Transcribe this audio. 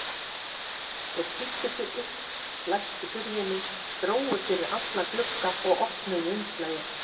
Þeir flýttu sér upp, læstu hurðinni, drógu fyrir alla glugga og opnuðu umslagið.